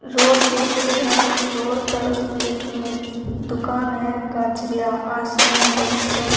road की picture है इस रोड पर एक दुकान है काजरिया आशियाना डेस्कटॉप --